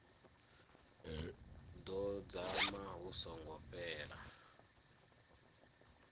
ḓo dzama hu songo fhela